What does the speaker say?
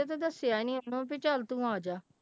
ਦੱਸਿਆ ਨੀ ਇਹਨੂੰ ਵੀ ਚੱਲ ਤੂੰ ਆ ਜਾ।